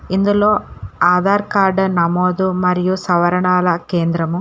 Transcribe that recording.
ఇందులో ఆధార్ కార్డు నమోదు మరియు సవరణల కేంద్రము--